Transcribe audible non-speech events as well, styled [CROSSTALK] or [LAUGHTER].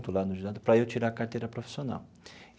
[UNINTELLIGIBLE] para eu tirar a carteira profissional.